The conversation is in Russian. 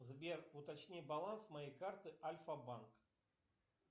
сбер уточни баланс моей карты альфа банк